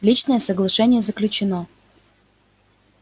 личное соглашение заключено